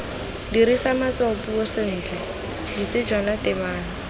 dirisa matshwaopuiso sentle ditsejwana tebang